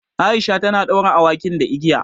Aisha ta ɗaure awakin da igiya.